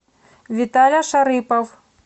виталя шарыпов